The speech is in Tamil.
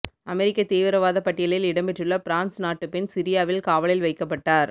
அமெரிக்க தீவிரவாத பட்டியலில் இடம்பெற்றுள்ள பிரான்ஸ் நாட்டுப் பெண் சிரியாவில் காவலில் வைக்கப்பட்டார்